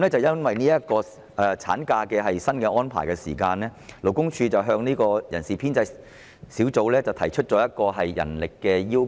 由於新的產假安排，勞工處向人事編制小組委員會提出增加人手的要求。